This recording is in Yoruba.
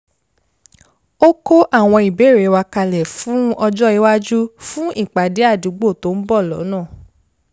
ó kó àwọn ìbéèrè wa kalẹ̀ fún ọjó iwájú fún ìpàdé àdúgbò tó ń bọ̀ lọ́nà